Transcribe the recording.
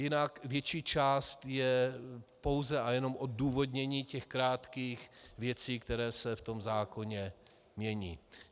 Jinak větší část je pouze a jenom odůvodnění těch krátkých věcí, které se v tom zákoně mění.